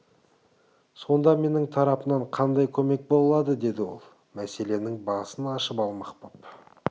сонда менің тарапымнан қандай көмек бола алады деді ол мәселенің басын ашып алмақ боп